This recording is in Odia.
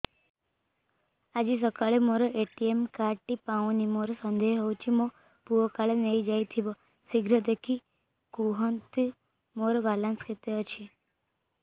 ଆଜି ସକାଳେ ମୋର ଏ.ଟି.ଏମ୍ କାର୍ଡ ଟି ପାଉନି ମୋର ସନ୍ଦେହ ହଉଚି ମୋ ପୁଅ କାଳେ ନେଇଯାଇଥିବ ଶୀଘ୍ର ଦେଖି କୁହନ୍ତୁ ମୋର ବାଲାନ୍ସ କେତେ ଅଛି